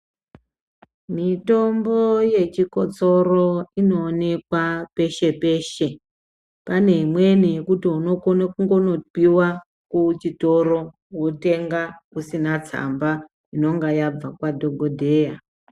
Mitombo yechikotsoro inoonekwa peshe peshe. Pane imweni yekuti unokone kungonopiwa kuchitoro unotenga usina tsamba inonga yabva kwadhokodheya.